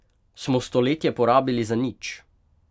Smo stoletje porabili za nič?